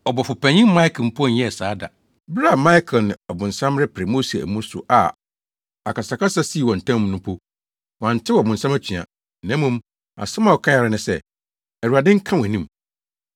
Ɔbɔfopanyin Mikael mpo nyɛɛ saa da. Bere a Mikael ne ɔbonsam repere Mose amu so a akasakasa sii wɔn ntam no mpo, wantew ɔbonsam atua, na mmom asɛm a ɔkae ara ne sɛ, “Awurade nka wʼanim.”